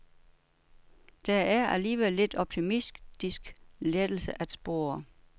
Der er alligevel lidt optimistisk lettelse at spore.